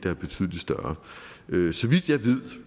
er betydelig større